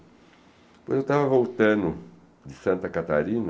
Depois eu estava voltando de Santa Catarina,